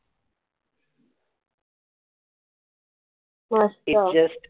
मस्त